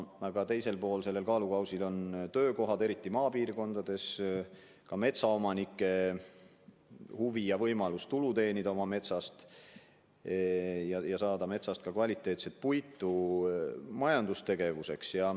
Aga teisel pool sellel kaalukausil on töökohad, eriti maapiirkondades, ka metsaomanike huvi ja võimalus oma metsa pealt tulu teenida või saada metsast kvaliteetset puitu majandustegevuseks.